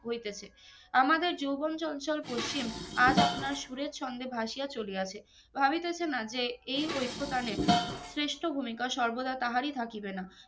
হইতাছে আমাদের যৌবন চঞ্চল পশ্চিম আজ আপনার সুরের ছন্দে ভাসিয়া চালিয়াছে ভাবিতেছে না যে এই ঐক্কো তালে শ্রেষ্ঠ ভুমিকা সর্বদা তাহারই থাকিবে না